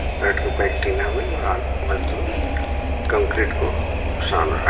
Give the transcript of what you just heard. में ओर मजदूर कंक्रीट को छान रहा --